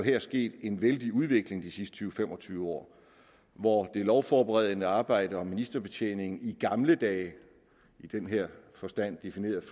er sket en vældig udvikling de sidste tyve til fem og tyve år hvor det lovforberedende arbejde og ministerbetjeningen i gamle dage i den her forstand defineret